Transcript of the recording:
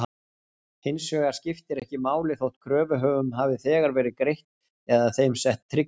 Hins vegar skiptir ekki máli þótt kröfuhöfum hafi þegar verið greitt eða þeim sett trygging.